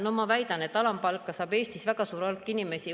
No ma väidan, et alampalka saab Eestis väga suur hulk inimesi.